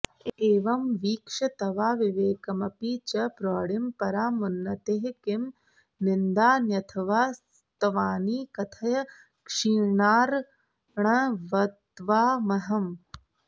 एवं वीक्ष्य तवाविवेकमपि च प्रौढिं परामुन्नतेः किं निन्दान्यथवा स्तवानि कथय क्षीरार्णवत्वामहम्